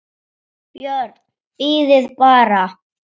BJÖRN: Bíðið bara!